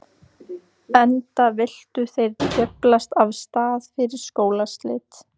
Enda vildu þeir djöflast af stað fyrir skólaslit.